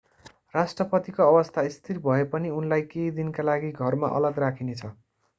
राष्ट्रपतिको अवस्था स्थिर भए पनि उनलाई केही दिनका लागि घरमा अलग राखिनेछ